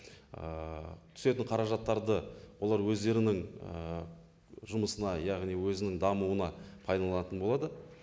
ііі түсетін қаражаттарды олар өздерінің ііі жұмысына яғни өзінің дамуына пайдаланатын болады